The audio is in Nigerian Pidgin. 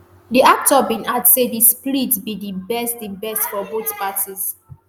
di actor bin add say di split be di best di best for both parties